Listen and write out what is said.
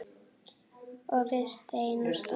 Og við stein er stopp.